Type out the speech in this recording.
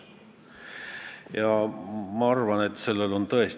Eeldan, et see on mugav ettekääne mitte selle asjaga tegeleda.